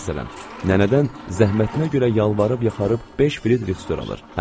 Məsələn, nənədən zəhmətinə görə yalvarıb yaxarıb beş frixtor alır.